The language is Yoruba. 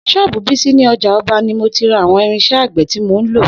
S̩ó̩ò̩bù Bísí ní o̩jà o̩ba ni mo ti ra àwo̩n irins̩é̩ àgbè̩ tí mo ń lò